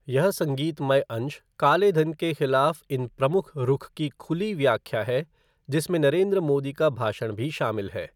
ये संगीतमय अंश काले धन के खिलाफ़ इन प्रमुख रुख की खुली व्याख्या है जिसमें नरेंद्र मोदी का भाषण भी शामिल है।